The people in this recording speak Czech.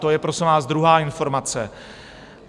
To je, prosím vás, druhá informace.